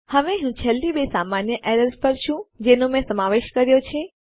હવે હું છેલ્લી બે સામાન્ય એરર્સ પર છું જેનો મેં સમાવેશ કર્યો છે